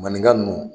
Maninka ninnu